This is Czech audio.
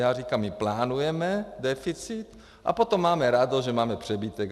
Já říkám, my plánujeme deficit a potom máme radost, že máme přebytek.